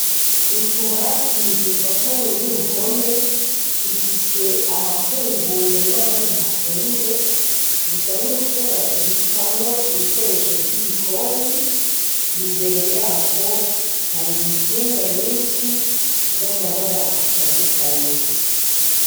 Utubati dufatanye n'uruhome dufise ahafunguye n'ahandi hafunze, dusa nutwo babikamwo ibikoresho vy'igikoni, imbere yako hari intsinga nyinshi z'amabara atandukanye.